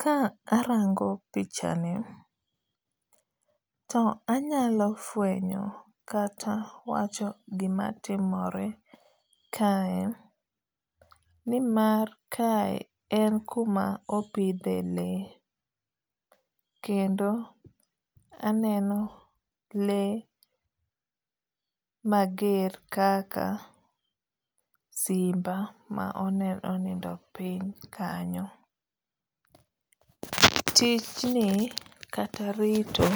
Ka arango pichani to anyalo fwenyo kata wacho gima timore kae ni mar kae en kuma opidhe lee. Kendo aneno lee mager kaka simba ma onindo piny kanyo. Tijni kata rito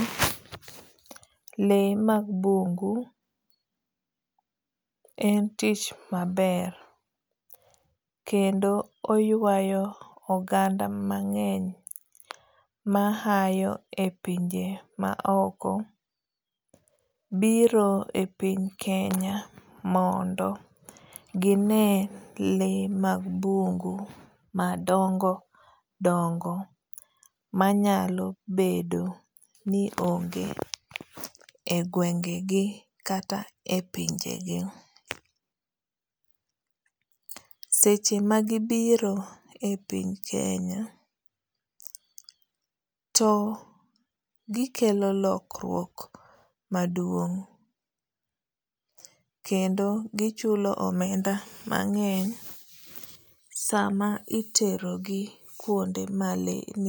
lee mag bungu en tich maber kendo oywayo oganda mang'eny ma hayo e pinje ma oko biro e piny kenya mondo gine le mag bungu madongo dongo manyalo bedo ni onge e gwenge gi kata e pinje gi. Seche ma gibiro e piny Kenya to gikelo lokruok maduong' kendo gichulo omenda mang'eny sama itero gi kuonde ma lee.